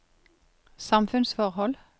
samfunnsforhold